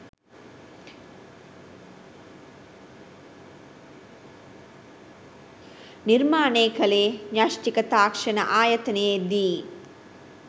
නිර්මානය කලේ න්‍යෂ්ඨික තාක්ෂණ ආයතනයේදී